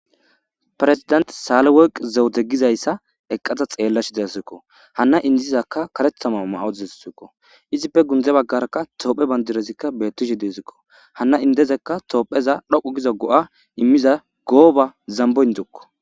Perzidanti saaleworqi zewude gizayssa eqqada xeellashe de7aysisako hanna indiya karetha mayo mayadazaysako izippe gunde baggarakka tophphiya badirazi beettishe de7eesko hanna indiza tophphiyaza dhoqqu giza go7a immiza gooba zambo indokjo